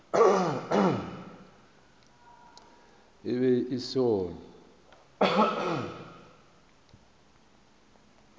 e be e se gona